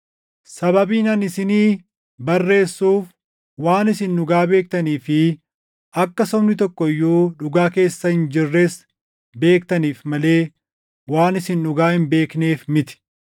Sababiin ani isinii barreessuuf waan isin dhugaa beektanii fi akka sobni tokko iyyuu dhugaa keessa hin jirres beektaniif malee waan isin dhugaa hin beekneef miti.